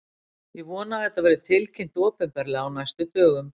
Ég vona að þetta verði tilkynnt opinberlega á næstu dögum.